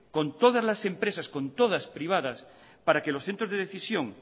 con todas las empresas privadas para que los centros de decisión